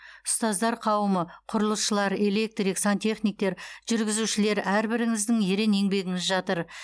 ұстаздар қауымы құрылысшылар электрик сантехниктер жүргізушілер әрбіріңіздің ерен еңбегіңіз жатыр